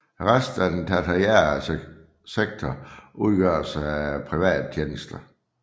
Resten af den tertiære sektor udgøres af private tjenester